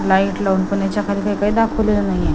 Light लावून पण याच्या खाली काय काय दाखवलेलं नाहीये.